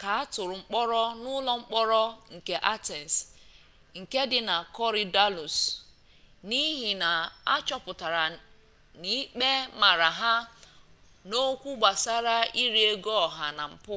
ka atụrụ mkpọrọ n'ụlọ mkpọrọ nke atens nke dị na korydallus n'ihi na achọpụtara na ikpe mara ha n'okwụ gbasara iri ego oha na mpu